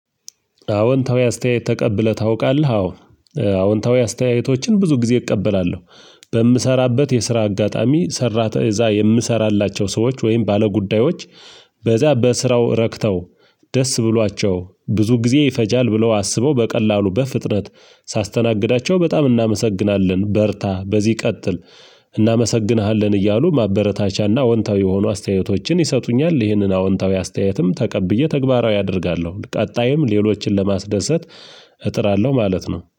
አዎንታዊ አስተያየት ተቀብለህ ታውቃለህ? አዎ አዎንታዊ አስተያየቶችን ብዙ ጊዜ እቀበላለሁ። በምሰራበት የስራ አጋጣሚ ሰራተ እዛ የምሰራላቸው ሰዎች ወይም ባለጉዳዮች በዛ በስራው ረክተው ደስ ብሏቸው ብዙ ጊዜ ይፈጃል ብለው አስበው በቀላሉ በፍጥነት ሳስተናግዳቸው በጣም እናመሰግናለን በርታ በዚህ ቀጥል እናመሰግንሃለን እያሉ ማበረታቻና አዎንታዊ የሆኑ አስተያየቶችን ይሰጡኛል ይህንን አዎንታዊ አስተያየትም ተቀብዬ ተግባራዊ አደርጋለሁ ቀጣይም ሌሎችን ለማስደሰት እጥራለሁ ማለት ነው